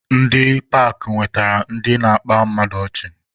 Ndị paakị na-eweta ndị na-akpa mmadụ ọchị.